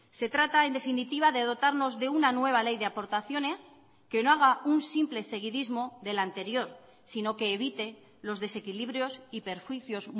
se trata en definitiva de dotarnos de una nueva ley de aportaciones que no haga un simple seguidismo del anterior sino que evite los desequilibrios y perjuicios